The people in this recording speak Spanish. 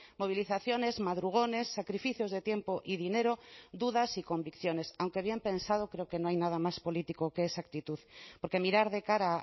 movilizaciones madrugones sacrificios de tiempo y dinero dudas y convicciones aunque habían pensado creo que no hay nada más político que esa actitud porque mirar de cara